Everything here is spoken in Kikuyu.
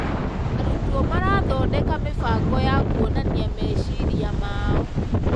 Arutwo marathondeka mĩbango ya kuonania meciria mao.